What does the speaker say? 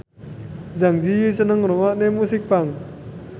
Zang Zi Yi seneng ngrungokne musik punk